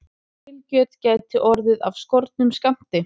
Grillkjöt gæti orðið af skornum skammti